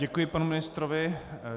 Děkuji panu ministrovi.